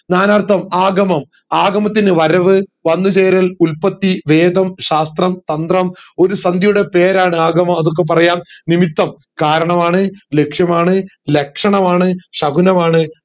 നാനാർഥം ആഗമം ആഗമത്തിനു വരവ് വന്നുചേരൽ ഉൽപ്പത്തി വേദം ശാസ്ത്രം തന്ത്രം ഒരു സന്ധിയുടെ പേരാണ് ആഗമം അതൊക്കെ പറയാം നിമിത്തം കാരണമാണ് ലക്ഷ്യമാണ് ലക്ഷണമാണ് ശകുനമാണ്